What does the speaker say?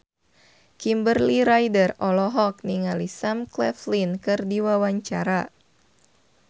Kimberly Ryder olohok ningali Sam Claflin keur diwawancara